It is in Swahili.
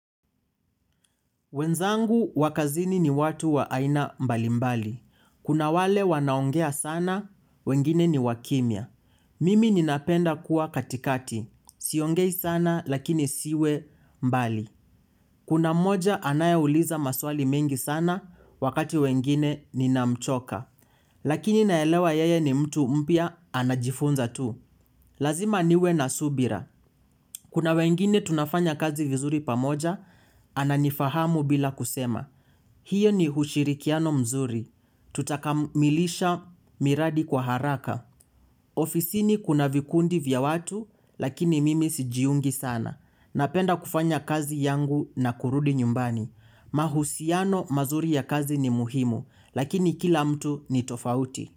Wenzangu wa kazini ni watu wa aina mbalimbali. Kuna wale wanaongea sana, wengine ni wakimia. Mimi ninapenda kuwa katikati. Siongei sana, lakini siwe mbali. Kuna mmoja anaye uliza maswali mengi sana, wakati mwingine ninamchoka. Lakini naelewa yeye ni mtu mpya, anajifunza tu. Lazima niwe na subira. Kuna wengine tunafanya kazi vizuri pamoja, ananifahamu bila kusema. Hio ni ushirikiano mzuri. Tutakamilisha miradi kwa haraka. Ofisini kuna vikundi vya watu, lakini mimi sijiungi sana. Napenda kufanya kazi yangu na kurudi nyumbani. Mahusiano mazuri ya kazi ni muhimu, lakini kila mtu ni tofauti.